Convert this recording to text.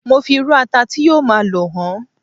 mo fi iru ata ti yíò ma lo hàn